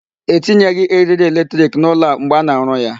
E tinyeghị eriri electric n'ụlọ a mgbe a na-arụ ya.